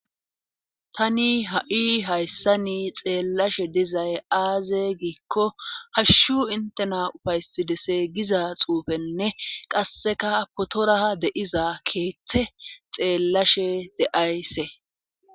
Tani ha'i hayssani xeellashe dizay aaze giikko hashshu intena ufaysidese giza xuufenne qasseka potoraa deiza keeththe xeellashe deayse.